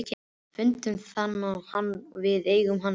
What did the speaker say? Við fundum hann og við eigum hann þess vegna.